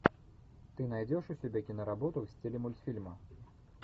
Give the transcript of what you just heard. ты найдешь у себя киноработу в стиле мультфильма